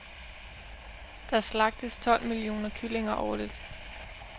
Der slagtes tolv millioner kyllinger årligt.